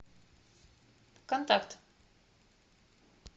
контакт